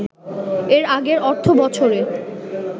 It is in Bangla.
এর আগের অর্থবছরে